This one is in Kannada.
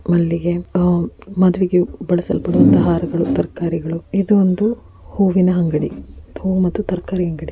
ಮಲ್ಲಿಗೆ ಮದುವೆಗೆ ಬಳಸಲ್ಪಡುವಂತಹ ಹಾರಗಳು --